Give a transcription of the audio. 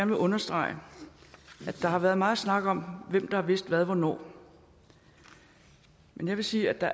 vil understrege at der har været meget snak om hvem der har vidst hvad hvornår men jeg vil sige at